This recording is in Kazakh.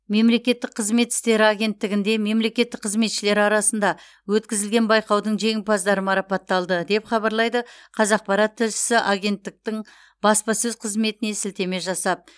мемлекеттік қызмет істері агенттігінде мемлекеттік қызметшілер арасында өткізілген байқаудың жеңімпаздары марапатталды деп хабарлайды қазақпарат тілшісі агенттіктің баспасөз қызметіне сілтеме жасап